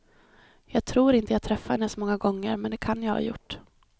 Jag tror inte jag träffade henne så många gånger, men det kan jag ha gjort.